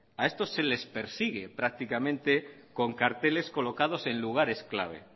a esto se les persigue prácticamente con carteles colocados en lugares clave